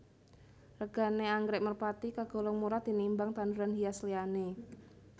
Regané anggrèk merpati kagolong murah tinimbang tanduran hias liyané